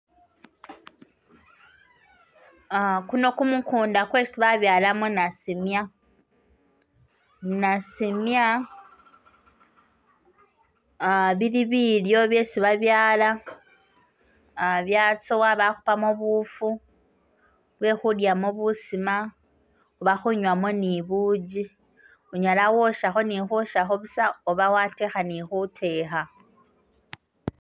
A guno gumugunda gwetsi babyalamo nasimya, nasimya aa bili bilyo byesi babyaala byatsowa bakhupamo buufu bwe khudyamo busima oba khunywamo ni buugi unyala khwoshakho ni khoshakho buusa oba wateekha ne khuteekha